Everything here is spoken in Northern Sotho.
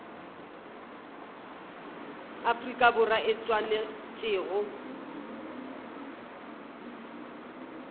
afrika borwa e swanetše go